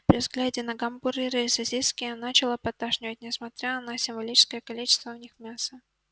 при взгляде на гамбургеры и сосиски начало подташнивать несмотря на символическое количество в них мяса